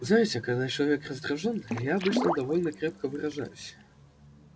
знаете когда человек раздражён я обычно довольно крепко выражаюсь